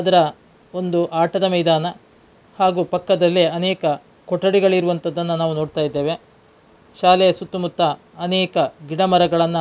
ಇದರ ಒಂದು ಆಟದ ಮೈದಾನ. ಹಾಗು ಪಕ್ಕದಲ್ಲಿ ಅನೇಕ ಕೊಠಡಿಗಳಿರುವಂಥದ್ದನ್ನ ನಾವು ನೋಡ್ತಾ ಇದ್ದೇವೆ. ಶಾಲೆಯ ಸುತ್ತ ಮುತ್ತ ಅನೇಕ ಗಿಡ ಮರಗಳನ್ನ --